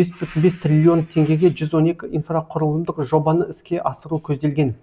бес бүтін бес триллион теңгеге жүз он екі инфрақұрылымдық жобаны іске асыру көзделген